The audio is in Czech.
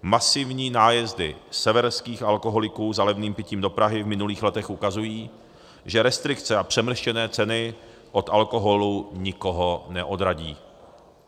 Masivní nájezdy severských alkoholiků za levným pitím do Prahy v minulých letech ukazují, že restrikce a přemrštěné ceny od alkoholu nikoho neodradí.